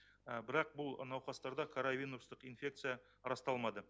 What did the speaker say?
бірақ бұл науқастарда коровинустық инфекция расталмады